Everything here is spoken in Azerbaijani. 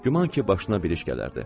Güman ki, başına bir iş gələrdi.